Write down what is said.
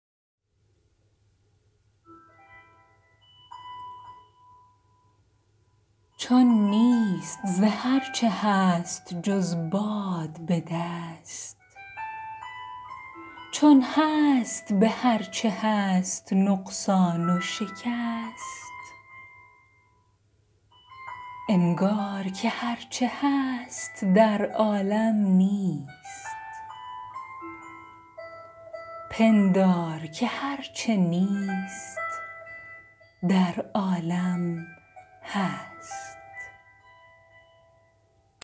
چون نیست ز هر چه هست جز باد به دست چون هست به هر چه هست نقصان و شکست انگار که هر چه هست در عالم نیست پندار که هر چه نیست در عالم هست